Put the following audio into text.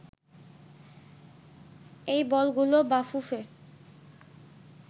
এই বলগুলো বাফুফে